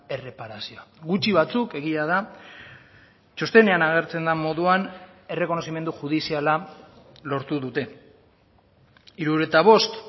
erreparazioa gutxi batzuk egia da txostenean agertzen den moduan errekonozimendu judiziala lortu dute hirurogeita bost